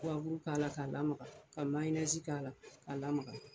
k'a la k'a lamaga ka mayonɛzi k'a la ka lamaga.